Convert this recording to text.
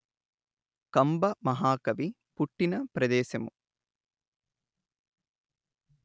కంబ మహాకవి పుట్టిన ప్రదేశము